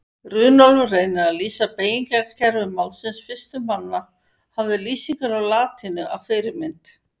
Runólfur reynir að lýsa beygingarkerfi málsins fyrstur manna og hafði lýsingar á latínu að fyrirmynd.